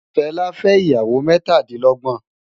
Fela fè iyàwó mètádilògbòn